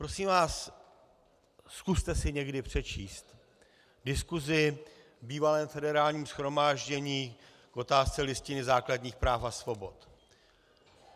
Prosím vás, zkuste si někdy přečíst diskusi v bývalém Federálním shromáždění k otázce Listiny základních práv a svobod.